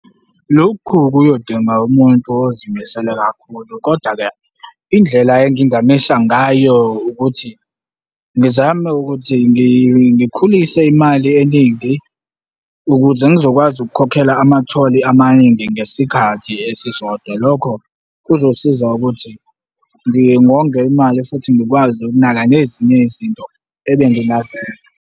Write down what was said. Lokhu kuyodinga umuntu ozimisele kakhulu koda-ke, indlela engingamisa ngayo ukuthi ngizame ukuthi ngikhulise imali eningi ukuze ngizokwazi ukukhokhela ama-toll amaningi ngesikhathi esisodwa. Lokho kuzosiza ukuthi ngingonge imali futhi ngikwazi ukunaka nezinye izinto ebengingazenza.